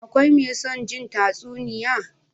Akwai me son jin tatsuniya?